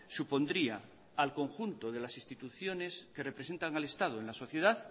supondría al conjunto de las instituciones que representan al estado en la sociedad